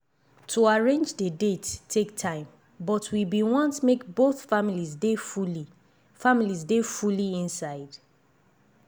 to arrange dey date take time but we been want make both families dey fully families dey fully inside.